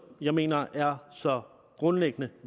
jeg mener er så grundlæggende